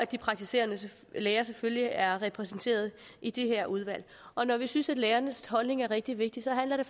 de praktiserende læger selvfølgelig er repræsenteret i det her udvalg og når vi synes at lægernes holdning er rigtig vigtig handler det